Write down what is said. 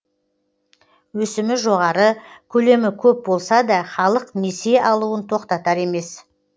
өсімі жоғары көлемі көп болса да халық несие алуын тоқтатар емес